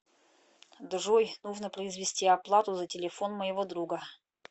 джой нужно произвести оплату за телефон моего друга